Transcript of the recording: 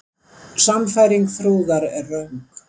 Sannfæring Þrúðar er röng.